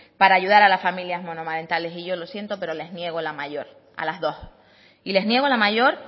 para ayudar a las familias monoparentales y yo lo siento pero les niego la mayor a las dos y les niego la mayor